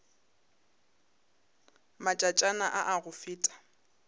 matšatšana a a go feta